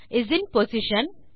is in position